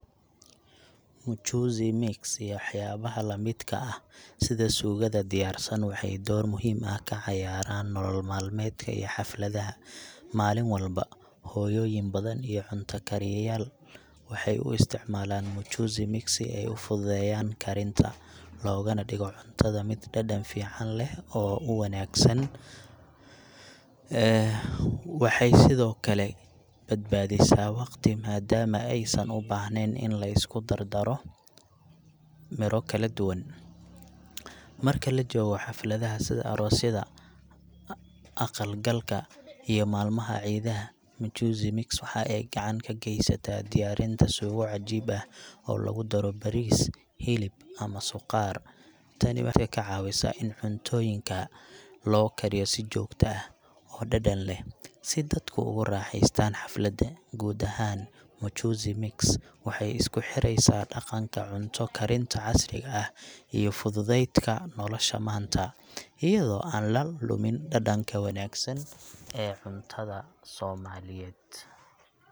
Mchuzi mix iyo waxyaabaha la midka ah sida suugada diyaarsan waxay door muhiim ah ka ciyaaraan nolol maalmeedka iyo xafladaha. Maalin walba, hooyooyin badan iyo cunto kariyayaal waxay u isticmaalaan mchuzi mix si ay u fududeeyaan karinta, loogana dhigo cuntada mid dhadhan fiican leh oo u wanaagsan Waxay sidoo kale badbaadisaa waqti maadaama aysan u baahnayn in la isku dar daro miro kala duwan. Marka la joogo xafladaha sida aroosyada, aqal galka, iyo maalmaha ciidaha, mchuzi mix waxa ay gacan ka gaysataa diyaarinta suugo cajiib ah oo lagu daro bariis, hilib ama suqaar. Tani waxay dadka ka caawisaa in cuntooyinka loo kariyo si joogto ah oo dhadhan leh, si dadku ugu raaxaystaan xafladda. Guud ahaan, mchuzi mix waxay isku xireysaa dhaqanka cunto karinta casriga ah iyo fududaydka nolosha maanta, iyadoo aan la lumin dhadhanka wanaagsan ee cuntada Soomaaliyeed.